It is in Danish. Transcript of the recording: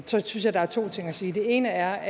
synes jeg der er to ting at sige det ene er